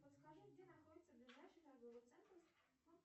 подскажи где находится ближайший торговый центр